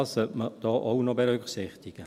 Das sollte man da auch noch berücksichtigen.